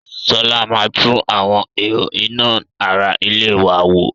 Sọlá máa tún àwọn ihò iná ara ilé wa wò